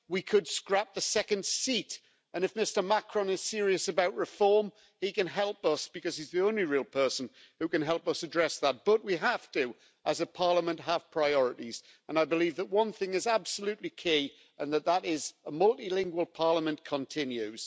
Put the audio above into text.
We could scrap the second seat and if Mr Macron is serious about reform he can help us, because he's the only real person who can help us address that. We have to, as a Parliament, have priorities and I believe that one thing is absolutely key and that is that a multilingual Parliament continues.